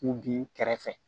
U b'i kɛrɛfɛ